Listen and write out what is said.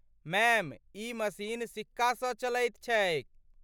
Ma'am, ई machine सिक्कासँ चलैत छैक।